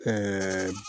Ɛɛ